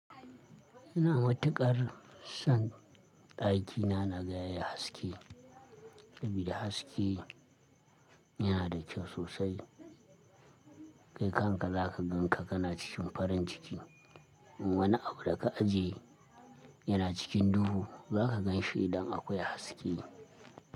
Ina matuƙar son daki na, na gaya yi haske. Saboda haske yana da kyau sosai. Kai kanka za ka gan ka, ka na cikin farin ciki. Wani abu da ka ajiye yana cikin duhu, za ka gan shi idan akwai haske.